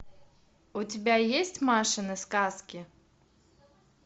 у тебя есть машины сказки